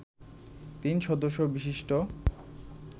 তিন সদস্য বিশিষ্ট